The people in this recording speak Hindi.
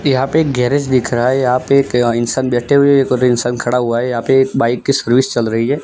यहां पे एक गैरेज दिख रहा है यहां पे एक इंसान बैठे हुए एक और इंसान खड़ा हुआ है यहां पे एक बाइक की सर्विस चल रही है।